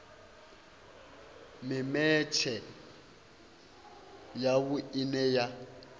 mimetshe ya vhui ine ya